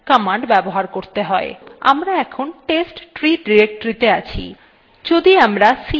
আমরা এখন testtree directory তে আছি